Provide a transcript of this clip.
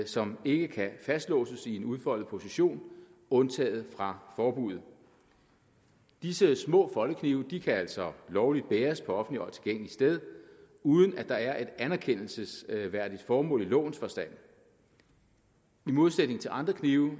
som ikke kan fastlåses i en udfoldet position undtaget fra forbuddet disse små foldeknive kan altså lovligt bæres på offentligt tilgængelige steder uden at der er et anerkendelsesværdigt formål i lovens forstand i modsætning til andre knive